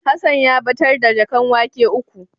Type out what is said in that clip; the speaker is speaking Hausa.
Hassan ya batar da jaƙan wake uku.